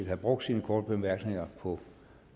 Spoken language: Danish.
have brugt sine korte bemærkninger på